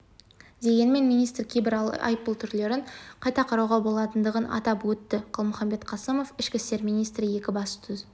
дегенмен министр кейбір айыппұл түрлерін қайта қарауға болатындығын атап өтті қалмұхамбет қасымов ішкі істер министрі екібастұз